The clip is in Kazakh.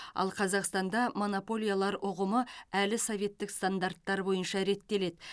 ал қазақстанда монополиялар ұғымы әлі советтік стандарттар бойынша реттеледі